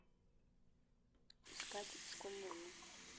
искать школьные дни